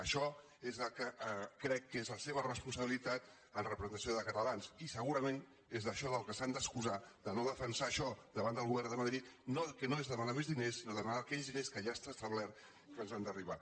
això és el que crec que és la seva responsabilitat en representació de catalans i segurament és d’això del que s’han d’excusar de no defensar això davant del govern de madrid que no és demanar més diners sinó demanar aquells diners que ja està establert que ens han d’arribar